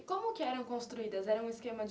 Como que eram construídas? Era um esquema de